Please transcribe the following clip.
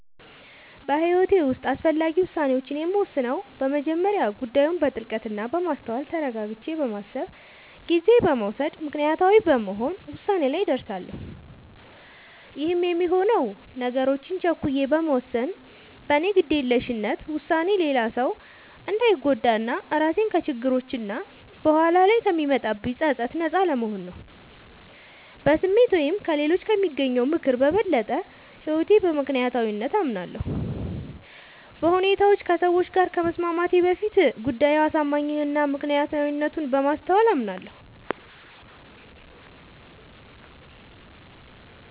በህይወቴ ዉስጥ አስፈላጊ ዉሳኔዎችን የምወስነው በመጀመሪያ ጉዳዩን በጥልቀት እና በማስተዋል ተረጋግቼ በማሰብ ጊዜ በመዉሰድ ምክንያታዊ በመሆን ዉሳኔ ላይ እደርሳለሁ ይህም የሚሆነው ነገሮችን ቸኩዬ በመወሰን በኔ ግዴለሽነት ዉሳኔ ሌላ ሰዉ እንዳንጎዳ እና ራሴንም ከችግሮች እና በኋላ ላይ ከሚመጣብኝ ፀፀት ነጻ ለመሆን ነዉ። በስሜት ወይም ከሌሎች ከሚያገኘው ምክር በበለጠ በህይወቴ በምክንያታዊነት አምናለሁ፤ በሁኔታዎች ከሰዎች ጋር ከመስማማቴ በፊት ጉዳዩ አሳማኝ እና ምክንያታዊነቱን በማስተዋል አምናለሁ።